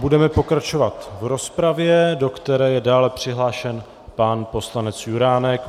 Budeme pokračovat v rozpravě, do které je dále přihlášen pan poslanec Juránek.